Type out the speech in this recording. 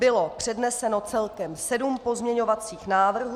Bylo předneseno celkem sedm pozměňovacích návrhů.